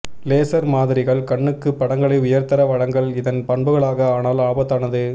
laser மாதிரிகள் கண்ணுக்கு படங்களை உயர்தர வழங்கல் இதன் பண்புகளாக ஆனால் ஆபத்தானது